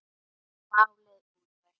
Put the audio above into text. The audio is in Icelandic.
Málið útrætt.